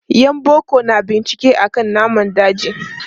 Yan boko na bincike akan namun daji.